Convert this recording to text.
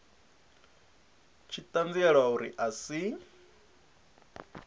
tshi ṱanziela uri a si